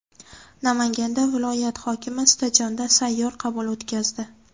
Namanganda viloyat hokimi stadionda sayyor qabul o‘tkazdi.